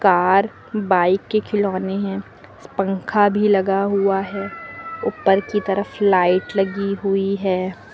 Car bike के खिलौने हैं पंखा भी लगा हुआ है ऊपर की तरफ लाइट लगी हुई है।